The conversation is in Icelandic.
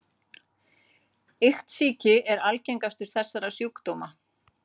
Iktsýki er algengastur þessara sjúkdóma.